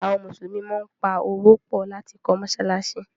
àwọn Musulumi món pá Owó pọ lati kọ́ masalasi.